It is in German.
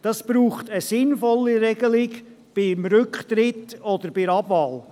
Es braucht eine sinnvolle Regelung für den Fall des Rücktritts oder der Abwahl.